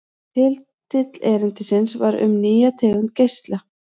Titill erindisins var Um nýja tegund geisla.